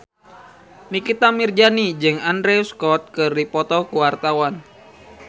Nikita Mirzani jeung Andrew Scott keur dipoto ku wartawan